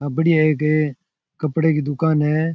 यहा बढ़िया एक कपड़े की दुकान है।